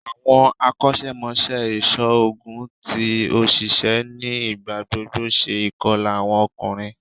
Awọn akọṣẹmọṣẹ iṣoogun ti oṣiṣẹ ni igbagbogbo ṣe ikọla awọn ọkunrin